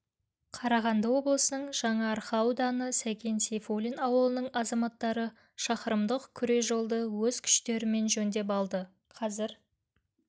қарағанды облысының жаңаарқа ауданы сәкен сейфуллин ауылының азаматтары шақырымдық күре жолды өз күштерімен жөндеп алды қазір